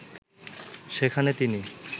সেখানে তিনি